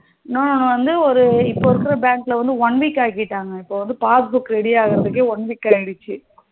நானு வந்து இப்போ இருக்குற bank ல வந்து one week ஆகிட்டாங்க இப்போ passbook ready ஆகுறதுக்கே one week ஆகிடுச்சு